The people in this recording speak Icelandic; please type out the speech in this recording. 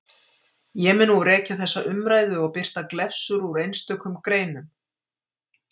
Ég mun nú rekja hér þessa umræðu og birta glefsur úr einstökum greinum.